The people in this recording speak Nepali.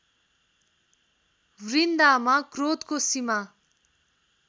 वृन्दामा क्रोधको सीमा